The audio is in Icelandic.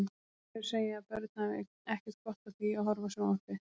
Þau segja að börn hafi ekkert gott af því að horfa á sjónvarpið.